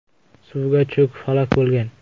suvga cho‘kib halok bo‘lgan.